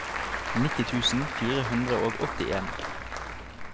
nitti tusen fire hundre og åttien